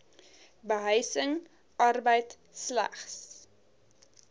behuising arbeid slegs